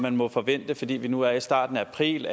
man må forvente fordi vi nu er i starten af april